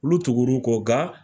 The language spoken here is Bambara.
Olu tugur'u kɔ nga